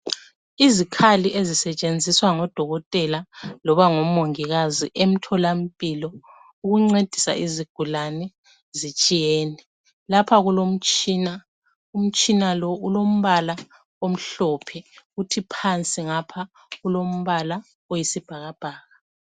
Izikhali ezisetshenziswa ngodokotela loba ngomongikazi emtholampilo ukuncedisa izigulani zitshiyene. Lapha kulomtshina. Umtshina lo ulombala omhlophe kuthi phansi ngapha kulombala oyisibhakabhaka.